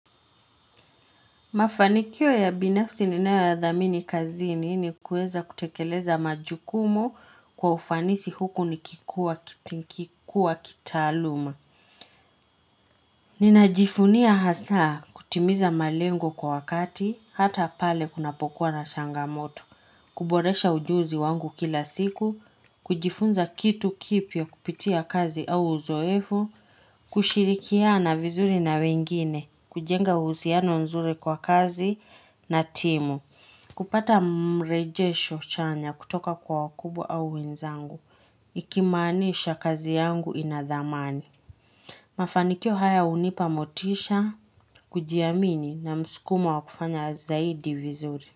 Mafanikio ya binafsi ninayoyathamini kazini ni kuweza kutekeleza majukumu kwa ufanisi huku nikikuwa kitaaluma. Ninajivunia hasa kutimiza malengo kwa wakati, hata pale kunapokuwa na changamoto, kuboresha ujuzi wangu kila siku, kujifunza kitu kipya kupitia kazi au uzoefu, kushirikiana vizuri na wengine, kujenga uhusiano nzuri kwa kazi na timu kupata mrejesho chanya kutoka kwa wakubwa au wenzangu Ikimaanisha kazi yangu ina thamani Mafanikio haya hunipa motisha, kujiamini na msukumo wa kufanya zaidi vizuri.